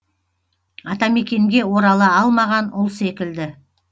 атамекенге орала алмаған ұл секілді